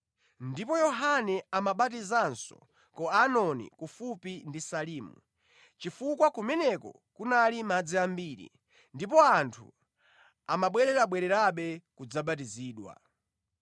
Ndipo Yohane amabatizanso ku Ainoni kufupi ndi Salimu, chifukwa kumeneko kunali madzi ambiri ndipo anthu amabwererabwererabe kudzabatizidwa.